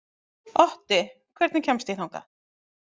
Otti, hvernig kemst ég þangað?